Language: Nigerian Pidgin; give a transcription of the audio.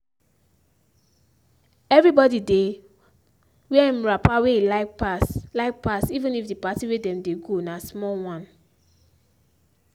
everybody dey wear im wrapper wey e like pass like pass even if d party wey dem dey go na small wan.